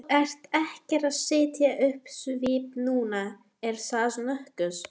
Þú ert ekkert að setja upp svip núna, er það nokkuð?